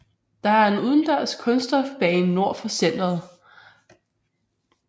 Der er en udendørs kunststofbane nord for centret